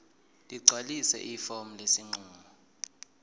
ligcwalise ifomu lesinqumo